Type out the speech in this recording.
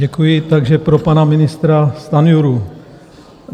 Děkuji, takže pro pana ministra Stanjuru.